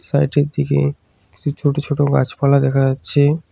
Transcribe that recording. সাইডের দিকে কিছু ছোট ছোট গাছপালা দেখা যাচ্ছে।